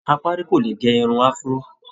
Apárí kò lè gẹ irun Afro